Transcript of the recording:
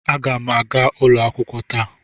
Aga m aga ụlọ akwụkwọ taa.